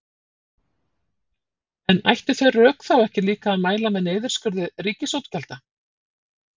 En ættu þau rök þá ekki líka að mæla með niðurskurði ríkisútgjalda?